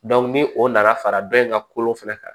ni o nana fara dɔ in ka kolo fɛnɛ kan